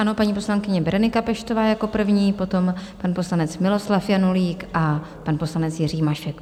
Ano, paní poslankyně Berenika Peštová jako první, potom pan poslanec Miloslav Janulík a pan poslanec Jiří Mašek.